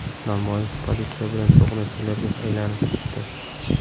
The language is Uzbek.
Namoyish politsiya bilan to‘qnashuvlarga aylanib ketdi.